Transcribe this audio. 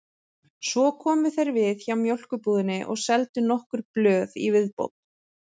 Svo komu þeir við hjá mjólkurbúðinni og seldu nokkur blöð í viðbót.